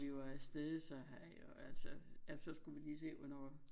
Vi var afsted så har jeg jo altså ja så skulle vi lige se hvornår